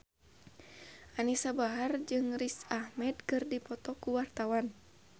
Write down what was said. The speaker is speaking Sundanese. Anisa Bahar jeung Riz Ahmed keur dipoto ku wartawan